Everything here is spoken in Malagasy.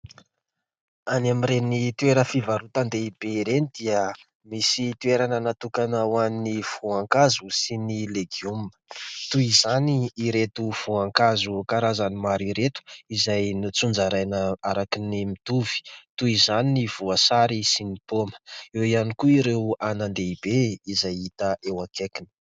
Any amin'ireny toeram-pivarotan-dehibe ireny dia misy toerana natokana ho an'ny voankazo sy ny legioma. Toy izany ireto voankazo karazany maro ireto izay notsinjaraina araka ny mitovy, toy izany ny voasary sy ny paoma. Eo ihany koa ireo anan-dehibe izay hita eo akaikiny.